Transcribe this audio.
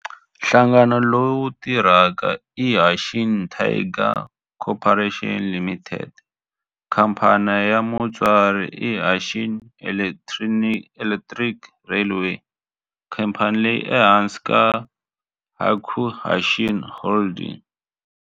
Nhlangano lowu tirhaka i Hanshin Tigers Co., Ltd. Khamphani ya mutswari i Hanshin Electric Railway, khamphani leyi nga ehansi ka Hankyu Hanshin Holdings.